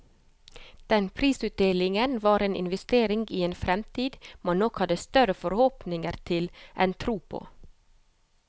Den prisutdelingen var en investering i en fremtid man nok hadde større forhåpninger til enn tro på.